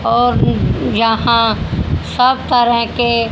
और यहां सब तरह के--